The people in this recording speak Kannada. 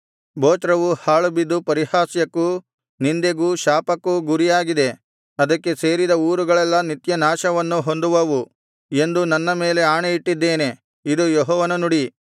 ಬೊಚ್ರವು ಹಾಳುಬಿದ್ದು ಪರಿಹಾಸ್ಯಕ್ಕೂ ನಿಂದೆಗೂ ಶಾಪಕ್ಕೂ ಗುರಿಯಾಗಿದೆ ಅದಕ್ಕೆ ಸೇರಿದ ಊರುಗಳೆಲ್ಲಾ ನಿತ್ಯನಾಶವನ್ನು ಹೊಂದುವವು ಎಂದು ನನ್ನ ಮೇಲೆ ಆಣೆಯಿಟ್ಟಿದ್ದೇನೆ ಇದು ಯೆಹೋವನ ನುಡಿ